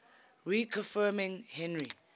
reconfirming henry